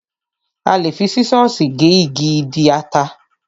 A lè fi sísọ̀sì gé igi ìdí ata.